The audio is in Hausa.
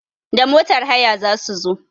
Da motar haya za su zo.